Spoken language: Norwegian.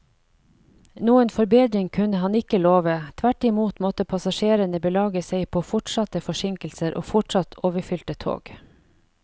Noen forbedring kunne han ikke love, tvert imot måtte passasjerene belage seg på fortsatte forsinkelser og fortsatt overfylte tog.